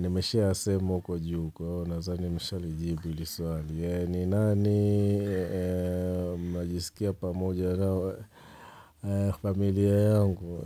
Nimeshasema huko juu, kwa hivyo nathani nishalijibu hili swali, ni nani majisikia pamoja na familia yangu